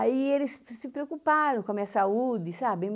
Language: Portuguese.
Aí eles se preocuparam com a minha saúde, sabe?